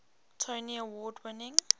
tony award winning